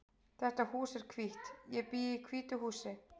Þetta hús er hvítt. Ég bý í hvítu húsi.